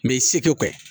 Mɛ i seko kɛ